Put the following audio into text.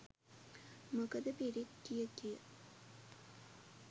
මොකද පිරිත් කියකිය